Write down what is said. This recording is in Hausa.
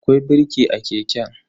Akwai birki a keken.